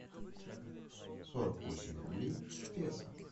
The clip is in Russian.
сорок восемь рублей в песо